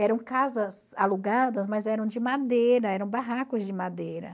Eram casas alugadas, mas eram de madeira, eram barracos de madeira.